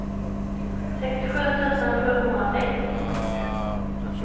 sextiosju tusen sjuhundrasex